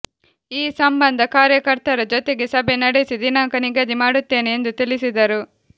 ಈ ಸಂಬಂಧ ಕಾರ್ಯಕರ್ತರ ಜೊತೆಗೆ ಸಭೆ ನಡೆಸಿ ದಿನಾಂಕ ನಿಗದಿ ಮಾಡುತ್ತೇನೆ ಎಂದು ತಿಳಿಸಿದರು